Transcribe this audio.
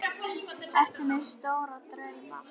Ertu með stóra drauma?